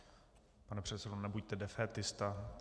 Pane předsedo, nebuďte defétista.